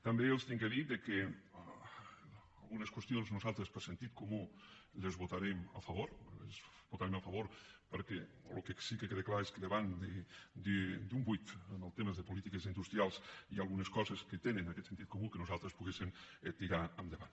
també els he de dir que algunes qüestions nosaltres per sentit comú les votarem a favor les votarem a favor perquè el que sí que queda clar és que davant d’un buit en els temes de polítiques industrials hi ha algunes coses que tenen aquest sentit comú que nosaltres podem tirar endavant